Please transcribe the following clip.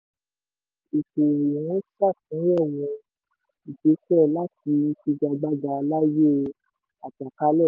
ìgbéṣẹ̀ láti figagbága láyé àjàkálẹ̀.